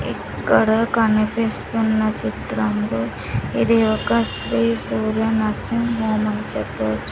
ఇక్కడ కనిపిస్తున్న చిత్రంలో ఇది ఒక శ్రీ సూర్య నర్సింగ్ హోమ్ అని చెప్పవచ్చు.